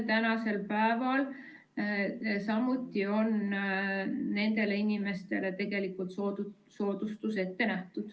Täna on samuti riigimuuseumides nendele inimestele soodustus ette nähtud.